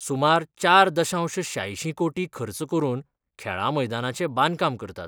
सुमार चार दशांश श्यांयशीं कोटी खर्च करून खेळां मैदानाचे बांदकाम करतात.